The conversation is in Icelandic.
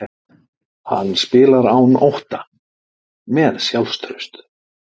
Hann spilar án ótta, með sjálfstraust.